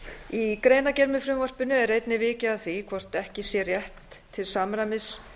í greinargerð með frumvarpinu er einnig vikið að því hvort ekki sé rétt til samræmis